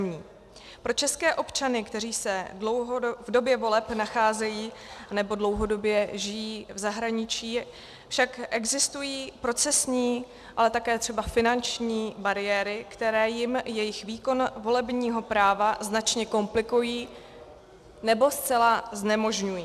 Pro české občany, kteří se v době voleb nacházejí nebo dlouhodobě žijí v zahraničí, však existují procesní, ale také třeba finanční bariéry, které jim jejich výkon volebního práva značně komplikují nebo zcela znemožňují.